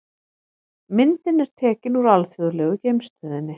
Myndin er tekin úr Alþjóðlegu geimstöðinni.